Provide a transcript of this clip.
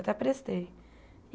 Até prestei.